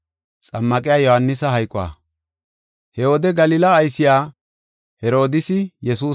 He wode Galila aysiya Herodiisi Yesuusaba si7is.